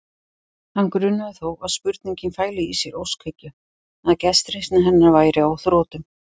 Hann grunaði þó að spurningin fæli í sér óskhyggju, að gestrisni hennar væri á þrotum.